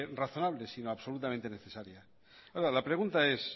razonable sino absolutamente necesaria ahora la pregunta es